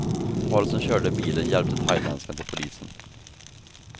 Paret som körde bilen hjälpte thailändskan till polisen.